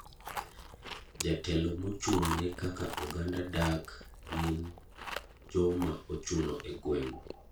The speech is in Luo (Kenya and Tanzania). Jotelo mochung ne kaka oganda dak gin joma ochuno e gweng'.